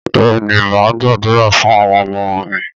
Bẹ́ẹ̀ ni, m á gbàdúrà fún àwọn ọmọ mi.